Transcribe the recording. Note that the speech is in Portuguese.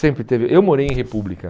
Sempre teve... Eu morei em república.